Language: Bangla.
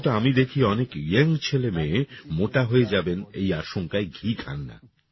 কিন্তু আমি দেখি অনেক ইয়াং ছেলে মেয়ে মোটা হয়ে যাবেন এই আশঙ্কায় ঘি খান না